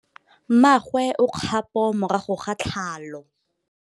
Mmagwe o kgapô morago ga tlhalô.